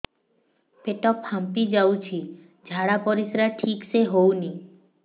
ପେଟ ଫାମ୍ପି ଯାଉଛି ଝାଡ଼ା ପରିସ୍ରା ଠିକ ସେ ହଉନି